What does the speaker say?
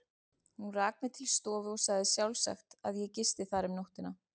Hún rak mig til stofu og sagði sjálfsagt, að ég gisti þar um nóttina.